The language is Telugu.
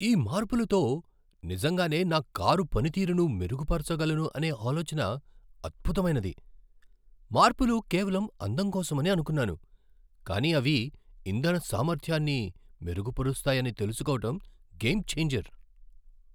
ఆ మార్పులతో నిజంగానే నా కారు పనితీరును మెరుగుపరచగలను అనే ఆలోచన అద్భుతమైనది. మార్పులు కేవలం అందం కోసమని అనుకున్నాను, కానీ అవి ఇంధన సామర్థ్యాన్ని మెరుగుపరుస్తాయని తెలుసుకోవడం గేమ్ ఛేంజర్.